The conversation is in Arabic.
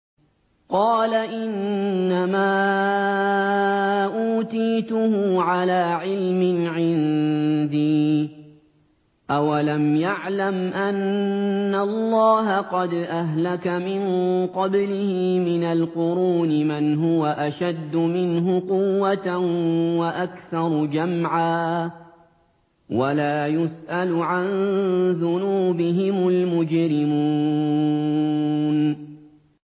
قَالَ إِنَّمَا أُوتِيتُهُ عَلَىٰ عِلْمٍ عِندِي ۚ أَوَلَمْ يَعْلَمْ أَنَّ اللَّهَ قَدْ أَهْلَكَ مِن قَبْلِهِ مِنَ الْقُرُونِ مَنْ هُوَ أَشَدُّ مِنْهُ قُوَّةً وَأَكْثَرُ جَمْعًا ۚ وَلَا يُسْأَلُ عَن ذُنُوبِهِمُ الْمُجْرِمُونَ